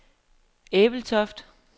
Ebeltoft